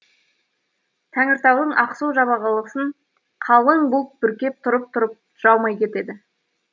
тәңіртаудың ақсу жабағылысын қалың бұлт бүркеп тұрып тұрып жаумай кетеді